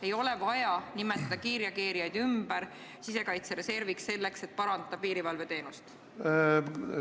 Ei ole vaja nimetada kiirreageerijaid ümber sisekaitsereserviks, selleks et piirivalveteenust parandada.